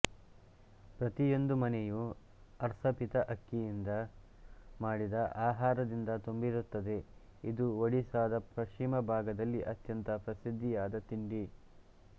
ಪ್ರತಿಯೊಂದು ಮನೆಯು ಅರ್ಸ ಪಿಥ ಅಕ್ಕಿಯಿಂದ ಮಾಡಿದ ಆಹಾರದಿಂದ ತುಂಬಿರುತ್ತದೆ ಇದು ಒಡಿಶಾದ ಪಶ್ಚಿಮ ಭಾಗದಲ್ಲಿ ಅತ್ಯಂತ ಪ್ರಸಿದ್ಧಿಯಾದ ತಿಂಡಿ